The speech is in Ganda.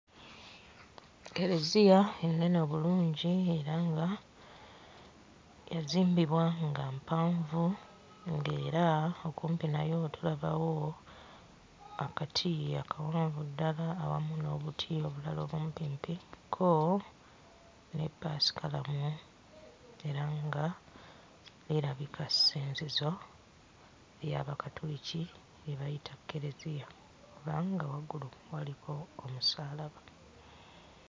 Kereziya ennene obulungi era nga yazimbibwa nga mpanvu ng'era okumpi nayo tulabawo akati akawanvu ddala awamu n'obuti obulala obumpimpi kko ne ppaasikalamu era nga lirabika ssinzizo ly'Abakatuliki lye bayita kereziya kubanga waggulu waliko omusaalaba.